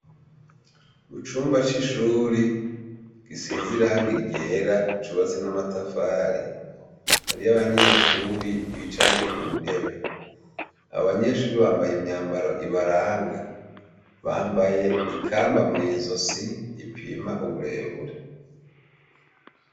Mucumba cishure risize irangi ryera cubatse namatafari hariyo abanyeshure bicaye kuntebe abo banyeshure bambaye imyambaro ibaranga bambaye ikamba mwizosi ripima uburebure